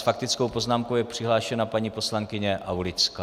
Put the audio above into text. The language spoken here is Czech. S faktickou poznámkou je přihlášena paní poslankyně Aulická.